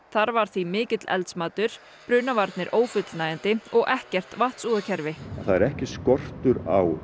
þar var því mikill eldsmatur brunavarnir ófullnægjandi og ekkert vatnsúðakerfi það er ekki skortur á